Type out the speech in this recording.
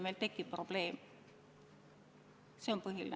Meil tekib probleem – see on põhiline.